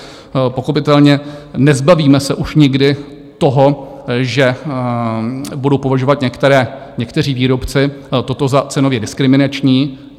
Pochopitelně, nezbavíme se už nikdy toho, že budou považovat někteří výrobci toto za cenově diskriminační.